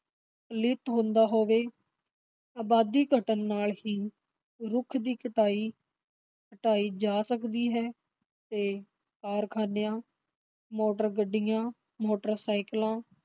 ਪਲੀਤ ਹੁੰਦਾ ਹੋਵੇ, ਅਬਾਦੀ ਘਟਣ ਨਾਲ ਹੀ ਰੁੱਖ ਦੀ ਕਟਾਈ ਘਟਾਈ ਜਾ ਸਕਦੀ ਹੈ, ਤੇ ਕਾਰਖ਼ਾਨਿਆਂ, ਮੋਟਰ-ਗੱਡੀਆਂ, ਮੋਟਰ ਸਾਇਕਲਾਂ